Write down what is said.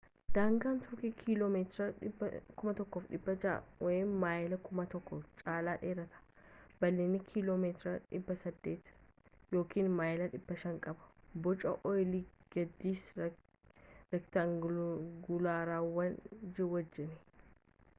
daangaan tuurkii kiiloo meetira 1600 maayilii 1,000 caalaa dheerata bal’iinna kiiloo meetira 800 maayilii 500 qaba boca olis gadis reektaanguulaarawaa wajjin